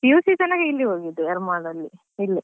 PUC ತನಕ ಇಲ್ಲಿ ಹೋಗಿದ್ದು Yermal ಅಲ್ಲಿ ಇಲ್ಲೇ.